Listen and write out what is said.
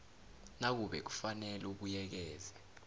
nakube kufanele ubuyekeze